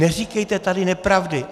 Neříkejte tady nepravdy.